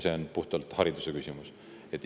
See on puhtalt hariduse küsimus.